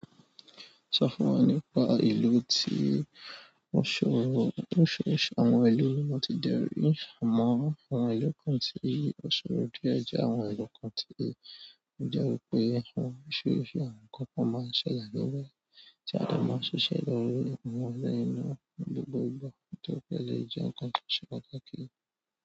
Sọ fún wa nípa ìlú tí ó ṣòro. Oríṣiríṣi àwọn ìlú ni wọ́n mo ti de rì, àmọ́ àwọn ìlú kan tí ó ṣòro díẹ̀ jẹ́ àwọn ìlú kan tí ó jẹ́ wípé àwọn oríṣiríṣi àwọn kan pọ máa ń ṣẹlẹ̀ níbẹ̀ tí a máa ń ṣiṣẹ́ lórí àwọn ọ̀nà iná ní gbogbo ìgbà kí ó dẹ lè jẹ́ ǹkan ti o ṣe pàtàkì.